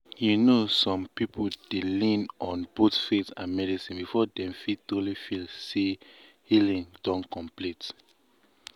you know some people dey lean on both faith and medicine before dem fit truly feel say healing don complete.